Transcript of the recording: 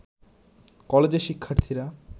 কলেজের শিক্ষার্থীরা